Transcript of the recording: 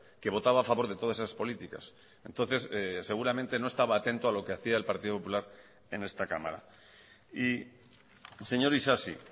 que votaba a favor de todas esas políticas entonces seguramente no estaba atento a lo que hacía el partido popular en esta cámara y señor isasi